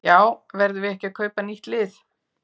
Já verðum við ekki að kaupa nýtt lið?